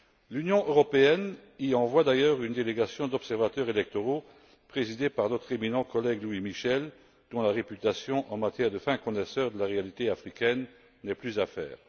L'Union européenne y envoie d'ailleurs une délégation d'observateurs électoraux présidée par notre éminent collègue Louis Michel, dont la réputation en tant que fin connaisseur de la réalité africaine n'est plus à faire.